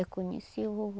Eu conheci o vovô.